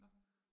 Nåh